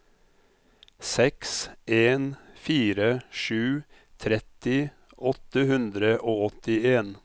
seks en fire sju tretti åtte hundre og åttien